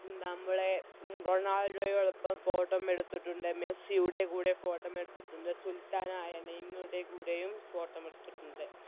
നമ്മളെ റൊണാൾഡോയോടൊപ്പം Photo മ് എടുത്തിട്ടുണ്ട് മെസ്സിയുടെ കൂടെ Photo മ് എടുത്തിട്ടുണ്ട് സുൽത്താനായ നെയ്‌മറുടെ കൂടെയും Photo മ് എടുത്തിട്ടുണ്ട്